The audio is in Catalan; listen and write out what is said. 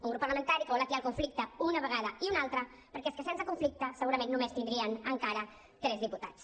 un grup parlamentari que vol atiar el conflicte una vegada i una altra perquè és que sense conflicte segurament només tindrien encara tres diputats